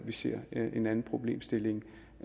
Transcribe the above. vi ser en anden problemstilling